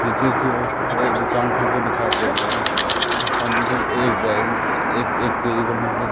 नीचे की ओर एक दुकान करके दिखाई दे रही है सामने की ओर एक एक-एक सीढ़ी बनी हुई है।